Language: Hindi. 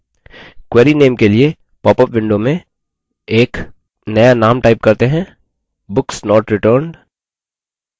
query name के लिए पॉपअप window में एक नया name type करते हैं: books not returned